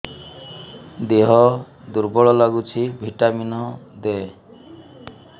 ଦିହ ଦୁର୍ବଳ ଲାଗୁଛି ଭିଟାମିନ ଦେ